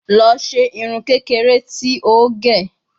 Lọ ṣe irun kekere ti o ge